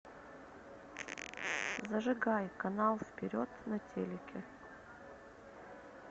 зажигай канал вперед на телике